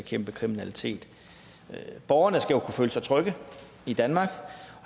bekæmpe kriminalitet med borgerne skal jo kunne føle sig trygge i danmark